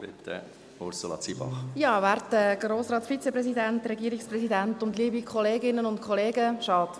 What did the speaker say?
Kommissionssprecherin der FiKo-Minderheit. Schade